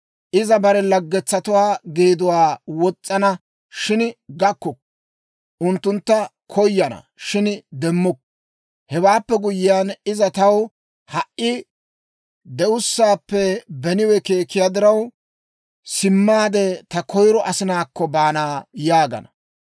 Iza bare laggetsatuwaa geeduwaa wos's'ana, shin gakkukku; unttuntta koyana, shin demmukku. Hewaappe guyyiyaan iza, ‹Taw ha"i de'ussaappe beniwe keekiyaa diraw, simmaade ta koyiro asinaakko baana› yaagana.